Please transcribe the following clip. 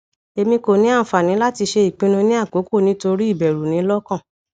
emi ko ni anfani lati ṣe ipinnu ni akoko nitori iberu ni lokan